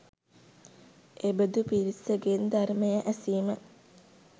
එබඳු පිරිස ගෙන් ධර්මය ඇසීම